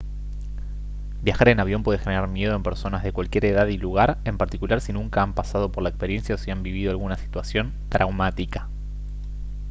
viajar en avión puede generar miedo en personas de cualquier edad y lugar en particular si nunca han pasado por la experiencia o si han vivido alguna situación traumática